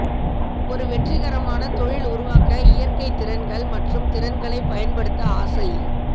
ஒரு வெற்றிகரமான தொழில் உருவாக்க இயற்கை திறன்கள் மற்றும் திறன்களை பயன்படுத்த ஆசை